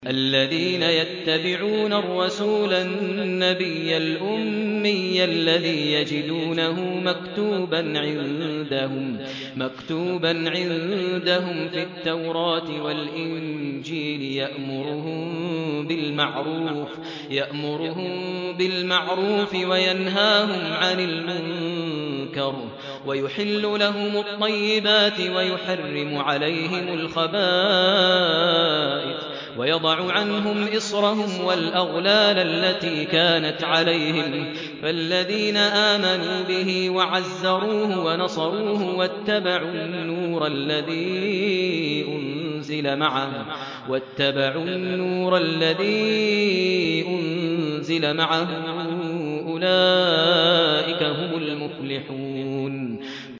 الَّذِينَ يَتَّبِعُونَ الرَّسُولَ النَّبِيَّ الْأُمِّيَّ الَّذِي يَجِدُونَهُ مَكْتُوبًا عِندَهُمْ فِي التَّوْرَاةِ وَالْإِنجِيلِ يَأْمُرُهُم بِالْمَعْرُوفِ وَيَنْهَاهُمْ عَنِ الْمُنكَرِ وَيُحِلُّ لَهُمُ الطَّيِّبَاتِ وَيُحَرِّمُ عَلَيْهِمُ الْخَبَائِثَ وَيَضَعُ عَنْهُمْ إِصْرَهُمْ وَالْأَغْلَالَ الَّتِي كَانَتْ عَلَيْهِمْ ۚ فَالَّذِينَ آمَنُوا بِهِ وَعَزَّرُوهُ وَنَصَرُوهُ وَاتَّبَعُوا النُّورَ الَّذِي أُنزِلَ مَعَهُ ۙ أُولَٰئِكَ هُمُ الْمُفْلِحُونَ